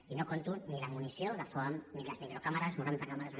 i no compto ni la munició de foam ni les microcàmeres noranta càmeres amb